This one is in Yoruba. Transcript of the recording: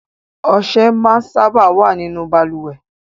Ọsẹ máa ń sábà wá nínú Balùwẹ́